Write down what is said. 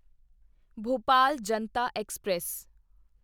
Bhopal Janata express